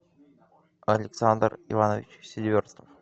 александр иванович селиверстов